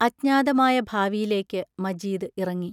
അജ്ഞാതമായ ഭാവിയിലേക്ക് മജീദ് ഇറങ്ങി.